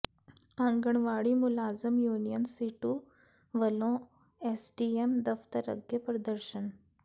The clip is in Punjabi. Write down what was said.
ਆਂਗਣਵਾੜੀ ਮੁਲਾਜ਼ਮ ਯੂਨੀਅਨ ਸੀਟੂ ਵੱਲੋਂ ਐਸਡੀਐਮ ਦਫਤਰ ਅੱਗੇ ਪ੍ਰਦਰਸ਼ਨ